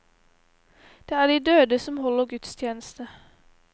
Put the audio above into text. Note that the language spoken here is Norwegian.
Det er de døde som holder gudstjeneste.